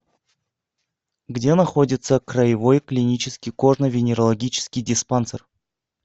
где находится краевой клинический кожно венерологический диспансер